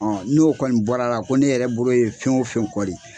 Ɔ n'o kɔni bɔra ko ne yɛrɛ bolo ye fɛn o fɛn kɔli